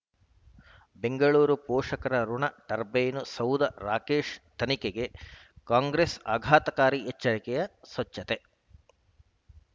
ಬೆಂಗಳೂರು ಪೋಷಕರಋಣ ಟರ್ಬೇನು ಸೌಧ ರಾಕೇಶ್ ತನಿಖೆಗೆ ಕಾಂಗ್ರೆಸ್ ಆಘಾತಕಾರಿ ಎಚ್ಚರಿಕೆ ಸ್ವಚ್ಛತೆ